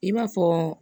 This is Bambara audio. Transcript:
I b'a fɔ